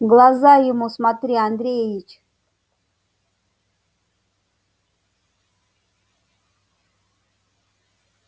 в глаза ему смотри андреич